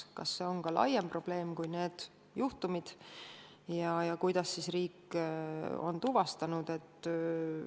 Kas see on laiem probleem kui teada olevad juhtumid ja kuidas riik on sellised juhtumid tuvastanud?